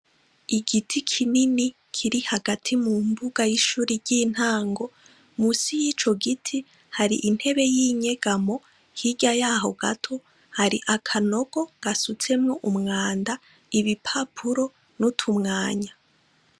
Igiti kinini kiri hagati mu mbuga y'ishuri ry'intango musi y'ico giti hari intebe y'inyegamo hirya yaho gato hari akanogo gasutsemwo umwanda ibi papuro n'utumwanya.